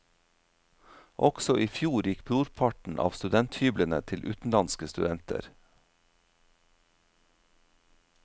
Også i fjor gikk brorparten av studenthyblene til utenlandske studenter.